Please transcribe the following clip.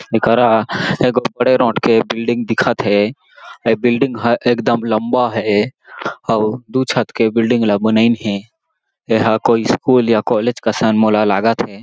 एकरा एगो बड़े नोट के बिल्डिंग दिखत हे ओ बिल्डिंग ह एक दम लम्बा हें अउ दू छत के बिल्डिंग ल बनाइन हें एहा कोई स्कूल या कॉलेज कसन मोला लागत हे।